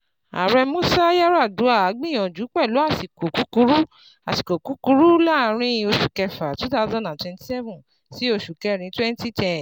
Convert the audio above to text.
Ààrẹ Músá Yar'Adua gbìyànjú pẹ̀lú àsìkò kúkurú àsìkò kúkurú láàrin oṣù kẹ́fà two thousand and twenty seven sí oṣù kẹ́rin twenty ten.